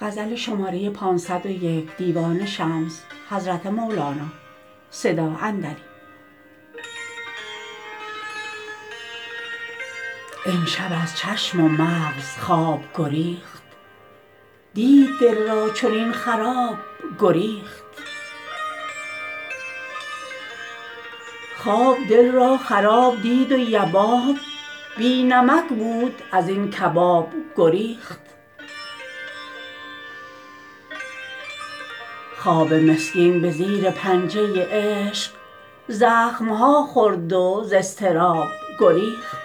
امشب از چشم و مغز خواب گریخت دید دل را چنین خراب گریخت خواب دل را خراب دید و یباب بی نمک بود از این کباب گریخت خواب مسکین به زیر پنجه عشق زخم ها خورد وز اضطراب گریخت